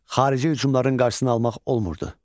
Xarici hücumların qarşısını almaq olmurdu.